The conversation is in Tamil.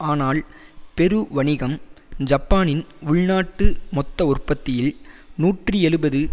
ஆனால் பெரு வணிகம் ஜப்பானின் உள்நாட்டு மொத்த உற்பத்தியில் நூற்றி எழுபது